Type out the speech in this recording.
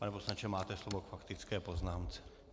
Pane poslanče, máte slovo k faktické poznámce.